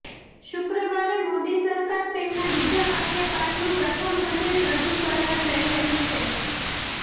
શુક્રવારે મોદી સરકાર તેમના બીજા કાર્યકાળનું પ્રથમ બજેટ રજૂ કરવા જઇ રહી છે